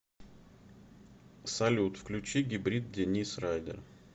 салют включи гибрид денис райдер